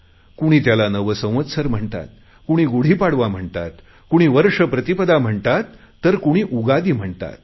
कुणी त्याला नव संवत्सर म्हणतात कुणी गुढीपाडवा म्हणतात कुणी वर्ष प्रतिपदा म्हणतात तर कुणी उगादि म्हणतात